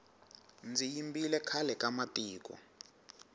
ndzi yimbile khale ka matiko